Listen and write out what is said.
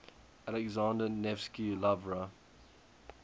alexander nevsky lavra